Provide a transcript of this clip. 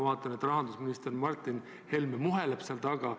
Ma vaatan, et rahandusminister Martin Helme muheleb seal laua taga.